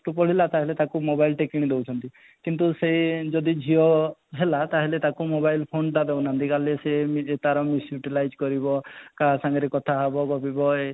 ପଢିଲା ତାହେଲେ ତାକୁ mobile ଟେ କିଣି ଦଇଅଛନ୍ତି କିନ୍ତୁ ସେଇ ଯଦି ଝିଅ ହେଲା ତାହେଲେ ତାକୁ mobile phone ତା ଦେଉ ନାହାନ୍ତି କାଲେ ସେ ତା'ର misutilized କରିବ କଥା ହେବ ଗପିବ